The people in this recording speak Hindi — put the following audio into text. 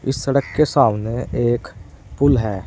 इस सड़क के सामने एक पुल है।